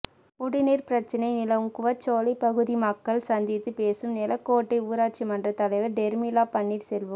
குடிநீா் பிரச்சனை நிலவும் கூவச்சோலை பகுதி மக்களை சந்தித்து பேசும் நெலாக்கோட்டை ஊராட்சி மன்ற தலைவா் டொ்மிளா பன்னீா் செல்வம்